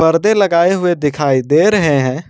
पर्दे लगाए हुए दिखाई दे रहे हैं।